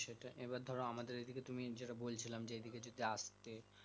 সেটাই এবার ধরো আমাদের এই দিকে তুমি যেটা বলছিলাম যে এই দিকে যদি আসতে